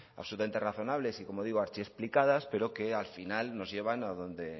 absolutamente razonables y como digo archiexplicadas pero que al final nos llevan a donde